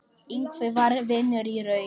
Ingvi var vinur í raun.